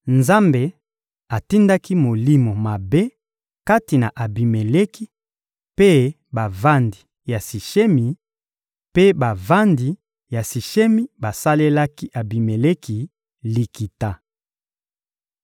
Nzambe atindaki molimo mabe kati na Abimeleki mpe bavandi ya Sishemi, mpe bavandi ya Sishemi basalelaki Abimeleki likita.